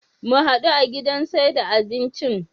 Mu hadu a gidan saida abincin